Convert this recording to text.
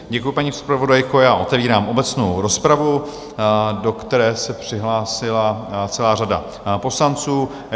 Děkuji, paní zpravodajko, já otevírám obecnou rozpravu, do které se přihlásila celá řada poslanců.